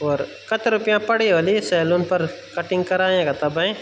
और कती रुपया पड़ी होला ये सैलून पर कटिंग करायाँ का तब हैंय्।